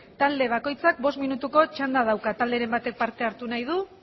talde bakoitzak bost minutuko txanda dauka talderen batek parte hartu nahi du